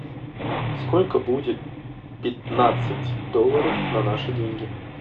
сколько будет пятнадцать долларов на наши деньги